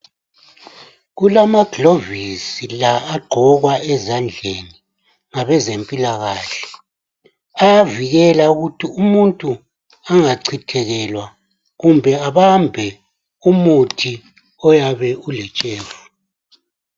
Kulama govisi lagqokwa ezadleni ngabe zempilakahle avikela ukuthi umutu angacithekelwa kumbe abambe umuthi oyabe ulentshefu